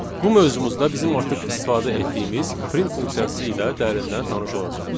Bu mövzumuzda bizim artıq istifadə etdiyimiz print funksiyası ilə dərindən tanış olacağıq.